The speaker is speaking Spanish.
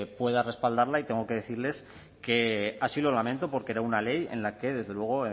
pueda respaldarla y tengo que decirles que así lo lamento porque era una ley en la que desde luego